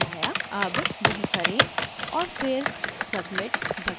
अब वह करें और फिर submit बटन चुनें